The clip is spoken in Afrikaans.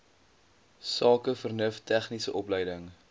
sakevernuf tegniese opleiding